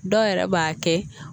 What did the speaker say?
Dɔw yɛrɛ b'a kɛ